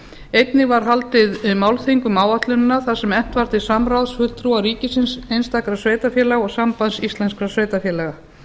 einnig var haldið málþing um áætlunina þar sem efnt var til samráðs fulltrúa ríkisins einstakra sveitarfélaga og sambands íslenskra sveitarfélaga